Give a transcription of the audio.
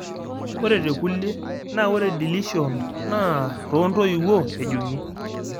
Ore tekulie , naa ore deletion naa too Intoiwuo ejung'i.